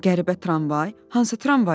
Qəribə tramvay, hansı tramvaydır?